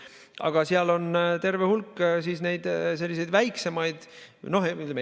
Aga seal on terve hulk ka selliseid väiksemaid.